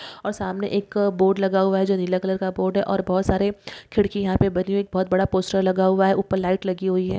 और सामने एक बोर्ड लगा हुआ है जो नीला कलर का बोर्ड है और बहुत सारे खिड़कियाँ भी बनी है बहुत बड़ा पोस्टर लगा हुआ है ऊपर लाइट लगी हुई है।